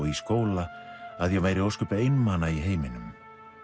í skóla að ég væri ósköp einmana í heiminum